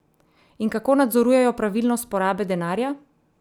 In kako nadzorujejo pravilnost porabe denarja?